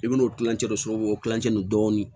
I bɛn'o kilancɛ de solo o kilancɛ nin dɔɔnin